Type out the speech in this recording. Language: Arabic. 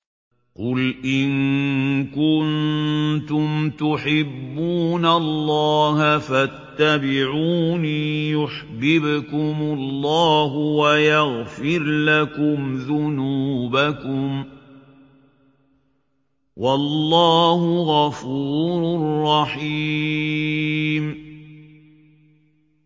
قُلْ إِن كُنتُمْ تُحِبُّونَ اللَّهَ فَاتَّبِعُونِي يُحْبِبْكُمُ اللَّهُ وَيَغْفِرْ لَكُمْ ذُنُوبَكُمْ ۗ وَاللَّهُ غَفُورٌ رَّحِيمٌ